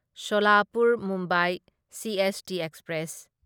Solapur Mumbai CST express